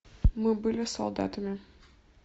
мы были солдатами